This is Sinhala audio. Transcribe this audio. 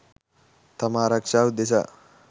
තම ආරක්ෂාව උදෙසා.